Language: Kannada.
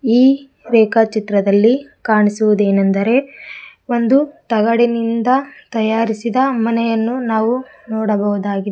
ಈ ರೇಖಾಚಿತ್ರದಲ್ಲಿ ಕಾಣಿಸುವುದೇನೆಂದರೆ ಒಂದು ತಗಡಿನಿಂದ ತಯಾರಿಸಿದ ಮನೆಯನ್ನು ನಾವು ನೋಡಬಹುದಾಗಿದೆ